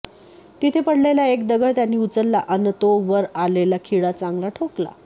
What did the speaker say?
तिथे पडलेला एक दगड त्यांनी उचलला अन तो वर आलेला खिळा चांगला ठोकला